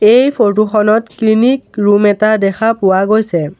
এই ফটো খনত clinic room এটা দেখা পোৱা গৈছে।